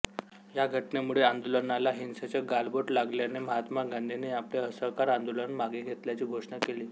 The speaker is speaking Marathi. ह्या घटनेमुळे आंदोलनाला हिंसेचे गालबोट लागल्याने महात्मा गांधींनी आपले असहकारआंदोलन मागे घेतल्याची घोषणा केली